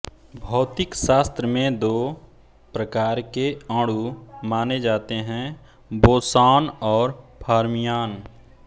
भौतिक शास्त्र में दो प्रकार के अणु माने जाते हैं बोसॉन और फर्मियान